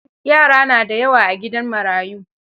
Yara na da yawa a gidan marayu.